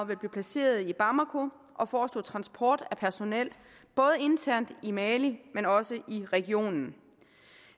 vil blive placeret i bamako og vil forestå transport af personel både internt i mali men også i regionen